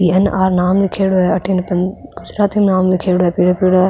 N R नाम लीखेड़ो है अठीने --